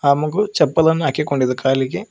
ಆ ಮಗು ಚಪ್ಪಲನ್ನು ಹಾಕಿಕೊಂಡಿದೆ ಕಾಲಿಗೆ.